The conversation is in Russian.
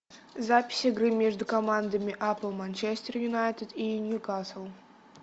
запись игры между командами апл манчестер юнайтед и ньюкасл